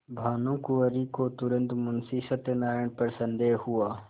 भानुकुँवरि को तुरन्त मुंशी सत्यनारायण पर संदेह हुआ